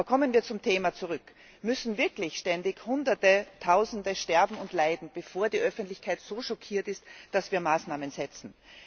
Aber kommen wir zum Thema zurück Müssen wirklich ständig Hunderte, Tausende sterben und leiden, bevor die Öffentlichkeit so schockiert ist, dass wir Maßnahmen setzen?